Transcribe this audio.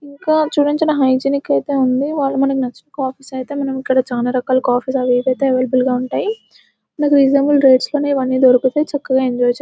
ఇంకా చూడండి చాలా హైజిన్ అయితే ఉంది . వాళ్ళు మనకి నచ్చిన కాపీస్ అయితే ఇక్కడ చాలా రకాల కాపీస్ అయితే అవైలబుల్ గా ఉంటాయి. మనకు రీజనబుల్ రేట్స్ లోని ఇవన్నీ దొరుకుతాయి. చక్కగా ఎంజాయ్ చేయొ--